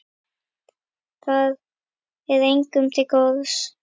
Það er engum til góðs.